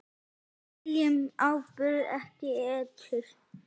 Við seljum áburð, ekki eitur.